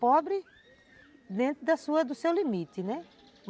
Pobre dentro da sua, do seu limite, né?